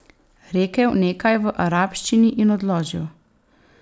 Rekel nekaj v arabščini in odložil.